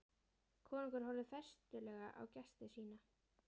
Konungur horfði festulega á gesti sína.